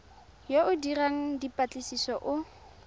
yo o dirang dipatlisiso o